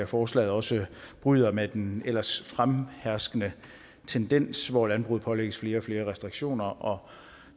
forslaget også bryder med den ellers fremherskende tendens hvor landbruget pålægges flere og flere restriktioner og